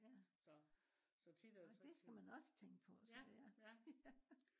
ja. nå det skal man også tænke på så ja